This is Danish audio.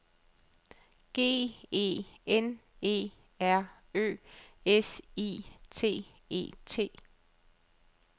G E N E R Ø S I T E T